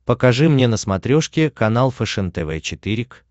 покажи мне на смотрешке канал фэшен тв четыре к